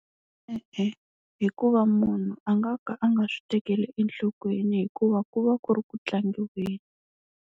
E-e hikuva munhu a nga ka a nga swi tekeli enhlokweni hikuva ku va ku ri ku tlangiweni.